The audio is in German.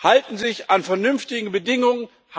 Halten sie sich an vernünftige Bedingungen?